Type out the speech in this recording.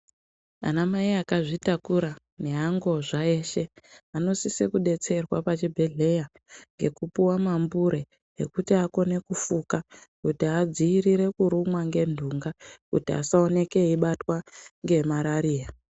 Amai akazvitakura nevangozva eshe vanosise kudetserwa pazvibhehleya ngekupuwe mambure ekuti akone kufuka kuti adzirire kurumwa ngentunga kuti asooneke eibatwa ngemarariya.